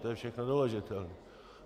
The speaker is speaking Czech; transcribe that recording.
To je všechno doložitelné.